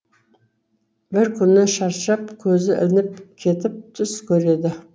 бір күні шаршап көзі ілініп кетіп түс көреді